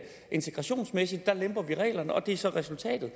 integrationsmæssigt lemper vi reglerne og det er så resultatet